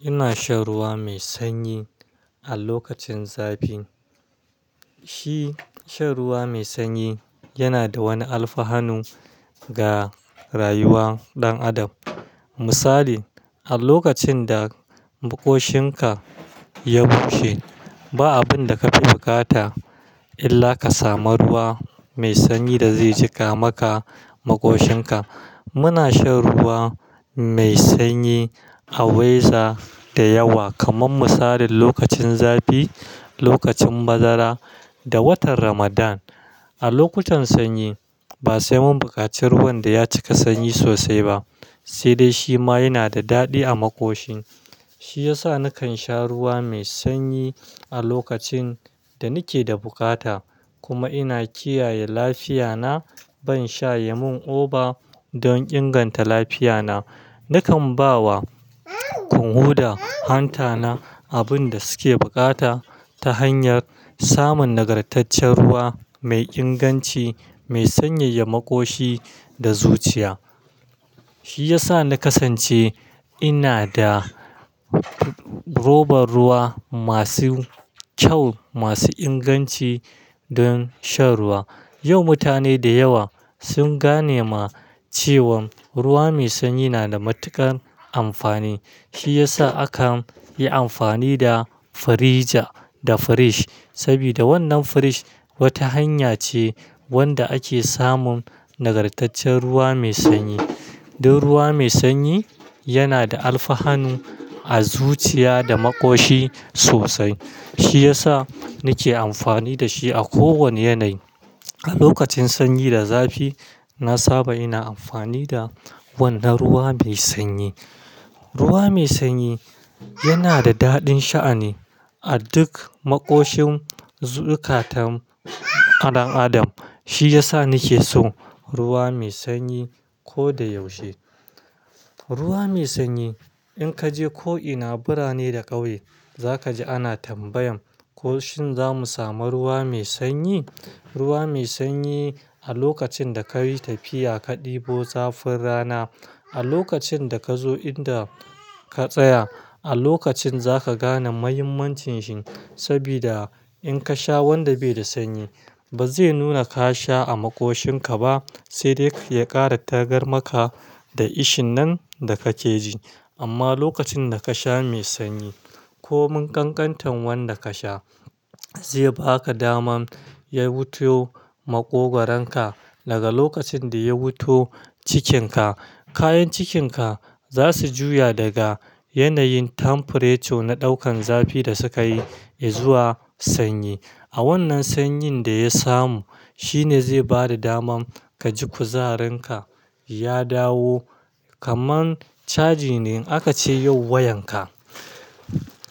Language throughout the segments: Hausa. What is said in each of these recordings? Ina shan ruwa mai sanyi a lokacin zafi. Shi shan ruwa mai sanyi yana da wani alfanu ga rayuwan ɗan adam. Misali, a lokacin da maƙoshin ka ya bushe, ba abun da ka fi bukata illa ka samu ruwa mai sanyi da zai jika maka maƙoshin ka. Muna shan ruwa mai sanyi a weza da yawa, kaman misalin lokacin zafi, lokacin bazara da watan Ramadan. A lokutan sanyi ba sai mun buƙaci ruwan da ya cika sanyi sosai ba, sai dai shi ma yana da daɗi a maƙoshin. Shi ya sa nakan sha ruwa mai sanyi a lokacin da ni ke da bukata kuma ina kiyaye lafiya na. Ban sha yamun oba don inganta lafiya na. Nakan ba wa kunhu da hanta na abun da suke bukata ta hanyar samun nagartaccen ruwa mai inganci, mai sanyaya maƙoshi da zuciya. Shi ya sa na kasance ina da roban ruwa masu kyau, masu inganci don shan ruwa. Yau mutane da yawa sun gane ma cewan ruwa mai sanyi na da matuƙar amfani. Shi ya sa aka yi amfani da firija da firij sabida wannan firij wata hanya ce wanda ake samun nagartaccen ruwa mai sanyi. Don ruwa mai sanyi yana da alfanu a zuciya da maƙoshi sosai. Shi ya sa ni ke amfani da shi a ko wani yanayi. A lokacin sanyi da zafi, na saba ina amfani da wannan ruwa mai sanyi. Ruwa mai sanyi yana da daɗin sha'ni a duk maƙoshin zukatan ɗan adam. Shi ya sa ni ke so ruwa mai sanyi ko da yaushe. Ruwa mai sanyi, in ka je ko'ina, birane da ƙauye, za ka ji ana tambayan, ko shin za mu samu ruwa mai sanyi? Ruwa mai sanyi a lokacin da ka yi tafiya ka ɗibo zafin rana, a lokacin da ka zo inda ka tsaya, a lokacin za ka gane muhimmancin shi sabida in ka sha wanda bai da sanyi, ba zai nuna ka sha a maƙoshin ka ba sai dai ya ƙara tagar maka da ishin nan da kake ji. Amma lokacin da ka sha mai sanyi ko mun ƙanƙantan wanda ka sha, zai ba ka daman ya wuto maƙogwaron ka daga lokacin da ya wuto cikinka. Kayan cikinka za su juya daga yanayin temperature na ɗaukan zafi da suka yi izuwa sanyi. A wannan sanyin da ya samu, shi ne zai bada daman ka ji kuzarin ka ya dawo kaman caji ne. A ka ce yau wayan ka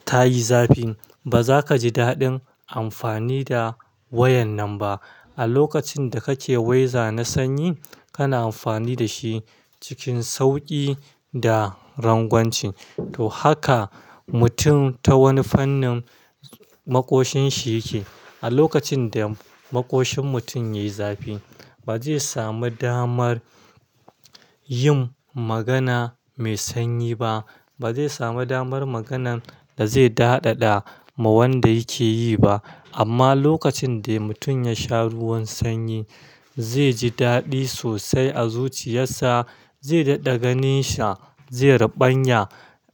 ta yi zafi, ba za ka ji daɗin amfani da wayan nan ba. A lokacin da kake weza na sanyi, kana amfani da shi cikin sauƙi da rangwanci. To haka mutum ta wani fannin maƙoshin shi yake. A lokacin da maƙoshin mutum yayi zafi, ba zai sami damar yin magana mai sanyi ba. Ba zai samu damar maganan da zai daɗaɗa ma wanda yake yi ba. Amma lokacin da mutum ya sha ruwan sanyi, zai ji daɗi sosai a zuciyassa, zai daɗa ganin sa, zai rubanya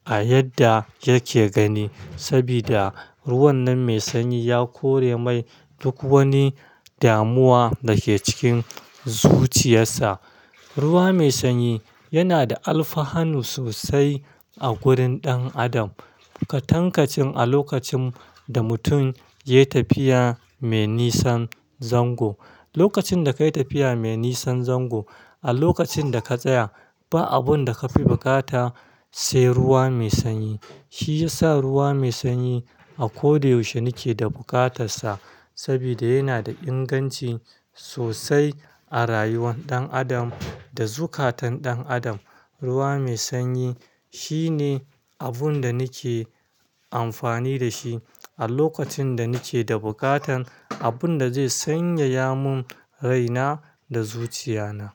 a yadda yake gani sabida ruwan nan mai sanyi ya kore mai duk wani damuwa da ke cikin zuciyassa. Ruwa mai sanyi yana da alfanu sosai a gurin ɗan adam. Katankacin a lokacin da mutum yai tafiya mai nisan zango. Lokacin da kai tafiya mai nisan zango, a lokacin da ka tsaya, ba abun da ka fi bukata sai ruwa mai sanyi. Shi ya sa ruwa mai sanyi a ko da yaushe ni ke da bukatarsa sabida yana da inganci sosai a rayuwar ɗan adam da zukatan ɗan adam. Ruwa mai sanyi shi ne abun da ni ke amfani da shi a lokacin da ni ke da bukatan abun da zai sanyaya mun raina da zuciya na.